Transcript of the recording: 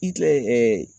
I kɛ